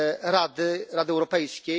dla Rady, Rady Europejskiej.